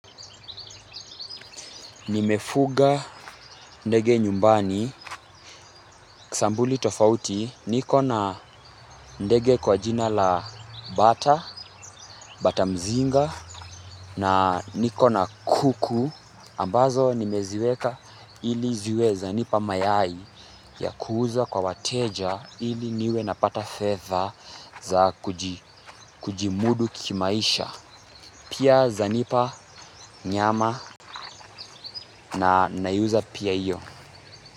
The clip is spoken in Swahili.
Nimefuga ndege nyumbani, sambuli tofauti, niko na ndege kwa jina la bata, bata mzinga, na niko na kuku, ambazo nimeziweka ili ziwe zanipa mayai ya kuuza kwa wateja ili niwe napata fedha za kujimudu kimaisha. Pia za nipa nyama na naiuza pia iyo.